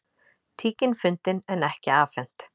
Tíkin fundin en ekki afhent